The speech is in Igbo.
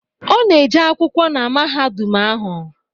Ọ na-eje akwụkwọ na mahadum ahụ